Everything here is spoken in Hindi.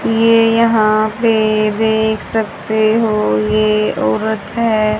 ये यहां पे देख सकते हो ये औरत है।